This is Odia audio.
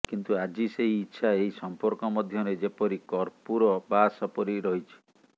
କିନ୍ତୁ ଆଜି ସେହି ଇଚ୍ଛା ଏହି ସମ୍ପର୍କ ମଧ୍ୟରେ ଯେପରି କର୍ପୂର ବାସ ପରି ରହିଛି